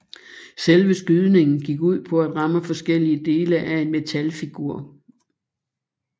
Selve skydningen gik ud på at ramme forskellige dele af en metalfigur